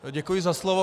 Děkuji za slovo.